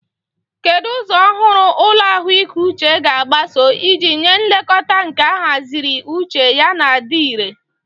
Kedu ụzọ ọhụrụ ụlọ ahụike uche ga-agbaso iji nye nlekọta nke ahaziri iche yana dị irè?